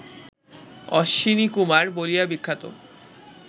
অশ্বিনীকুমার বলিয়া বিখ্যাত